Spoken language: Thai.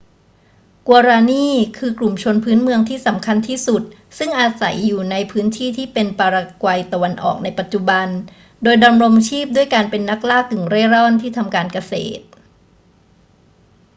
guaraní คือกลุ่มชนพื้นเมืองที่สำคัญที่สุดซึ่งอาศัยอยู่ในพื้นที่ที่เป็นปารากวัยตะวันออกในปัจจุบัน โดยดำรงชีพด้วยการเป็นนักล่ากึ่งเร่ร่อนที่ทำการเกษตร